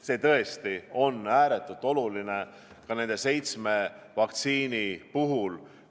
See tõesti on ääretult oluline ka nende seitsme vaktsiini puhul.